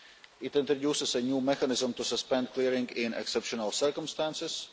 it introduces a new mechanism to suspend clearing in exceptional circumstances